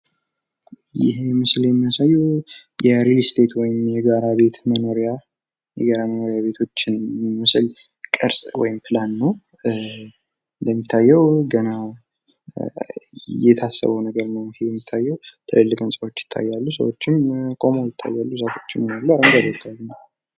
ይህ ምስል የሚያሳየው የጋራ መኖሪያ ቤቶችን ወይም ሪል ስቴት የሚያሳይ ቅርፅ ወይም ፕላን ነው ።የሚታየዉ ገና የታሰበው ነገር ነው ።ሰዎችም አሉ ፣ዛፎችም ይታያሉ አረንጓዴ አካባቢ ነው ።